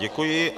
Děkuji.